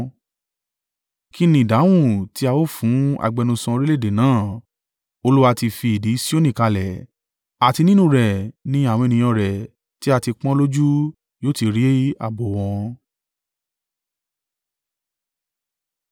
Kí ni ìdáhùn tí a ó fún agbẹnusọ orílẹ̀-èdè náà? “Olúwa ti fi ìdí Sioni kalẹ̀, àti nínú rẹ̀ ni àwọn ènìyàn rẹ̀ tí a ti pọ́n ọn lójú yóò ti rí ààbò o wọn.”